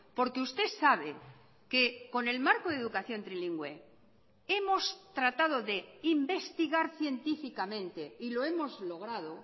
porque usted sabe que con el marco de educación trilingüe hemos tratado de investigar científicamente y lo hemos logrado